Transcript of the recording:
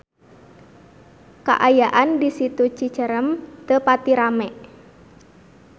Kaayaan di Situ Cicerem teu pati rame